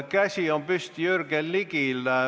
Käsi on püsti Jürgen Ligil.